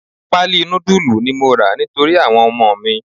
Pali nudulu ni mo ra nítorí àwọn ọmọ mi.